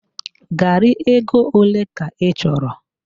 Garị ego ole ka ị chọrọ?